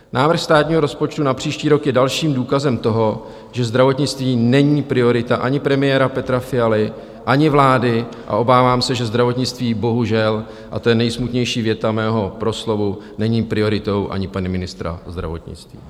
Návrh státního rozpočtu na příští rok je dalším důkazem toho, že zdravotnictví není priorita ani premiéra Petra Fialy, ani vlády a obávám se, že zdravotnictví, bohužel, a to je nejsmutnější věta mého proslovu, není prioritou ani pana ministra zdravotnictví.